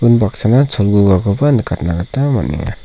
unbaksana cholgugakoba nikatna gita man·enga.